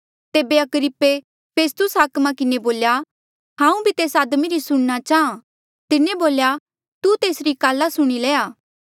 तेबे अग्रिप्पे फेस्तुस हाकमा किन्हें बोल्या हांऊँ भी तेस आदमी री सुणना चाहां तिन्हें बोल्या तू तेसरी काल्ला सुणी लया